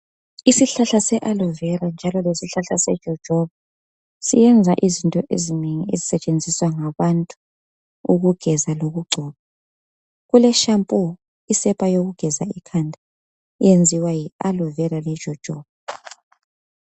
Isihlahla se alovera njalo lesihlahla sejojoba ziyenza izinto ezinengi ezisetshenziswa ngabantu ukugeza lokugcoba. Kule shampoo, isepa yokugeza ikhanda eyenziwa yi alovera lejojoba